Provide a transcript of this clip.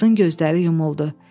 Qızın gözləri yumuldu.